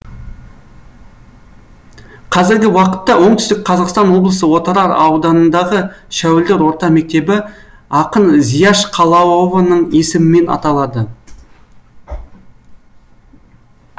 қазіргі уақытта оңтүстік қазақстан облысы отырар ауданындағы шәуілдір орта мектебі ақын зияш қалауованың есімімен аталады